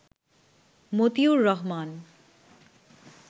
Motiur Rahman